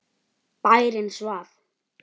Bærinn svaf.